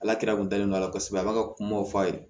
Ala kira kundalen don a la kosɛbɛ a b'a ka kumaw fɔ a ye